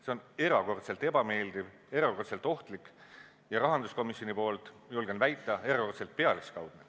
See on erakordselt ebameeldiv, erakordselt ohtlik ja rahanduskomisjoni poolt, julgen väita, erakordselt pealiskaudne.